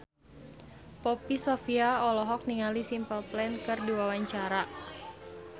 Poppy Sovia olohok ningali Simple Plan keur diwawancara